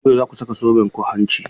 Yau za ku saka zobenku hanci?